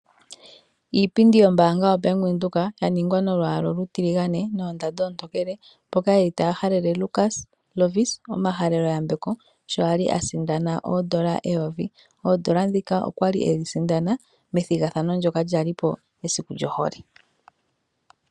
Iipundi yombaanga bank Windhoek yaningwa nolwaala olutiligane noondanda oontokele mboka yelipo taya halele Lukas Lovisa omahalelo yambeko shokwali a sindana oodolla eyovi. Oodolla dhika okwali e dhi sindana methigathano lyoka lya li po mesiku lyohole.